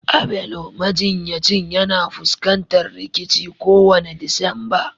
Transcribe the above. Abelo majinyacin yana fuskantar rikici kowane Disamba